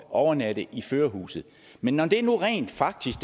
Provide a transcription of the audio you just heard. overnatte i førerhuset men når det nu rent faktisk